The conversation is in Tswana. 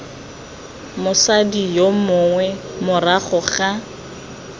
mosadi yo mongwe morago ga